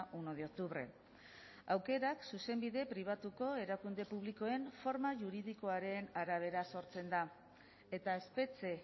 uno de octubre aukerak zuzenbide pribatuko erakunde publikoen forma juridikoaren arabera sortzen da eta espetxe